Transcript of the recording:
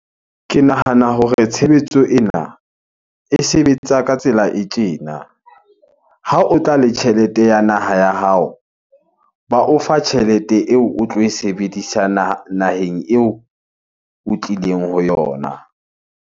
Ke nahana hore tshebetso ena e sebetsa ka tsela e tjena. Ha o tla le tjhelete ya naha ya hao, ba o fa tjhelete eo o tlo e sebedisa naheng eo o tlileng ho yona.